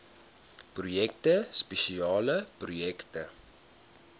projekte spesiale projekte